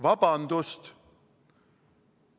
Vabandust!